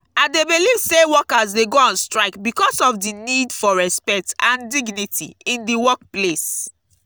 i dey believe say workers dey go on strike because of di need for respect and dignity in di workplace.